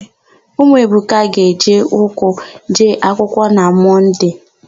Ụmụ Ebuka ga-eji ụkwụ jee akwựkwọ na Mọnde.